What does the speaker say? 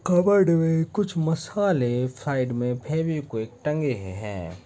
Cupboard मे कुछ मसाले साइड मे फेवीक्विक टंगे हुए है।